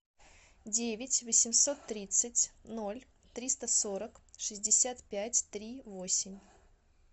девять восемьсот тридцать ноль триста сорок шестьдесят пять три восемь